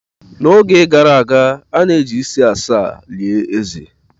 N'oge gara aga, a na-eji isi asaa lie eze.